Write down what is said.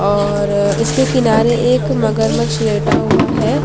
और इसके किनारे एक मगरमच्छ लेटा हुआ है।